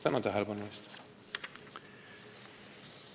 Tänan tähelepanu eest!